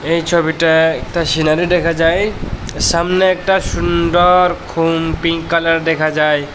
এই ছবিটায় একটা সিনারি দেখা যায় সামনে একটা সুন্দর খুন পিঙ্ক কালার দেখা যায়।